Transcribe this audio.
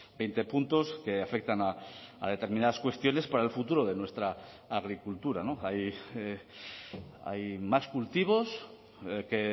veinte puntos que afectan a determinadas cuestiones para el futuro de nuestra agricultura hay más cultivos que